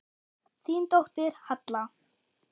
Þín dóttir, Halla.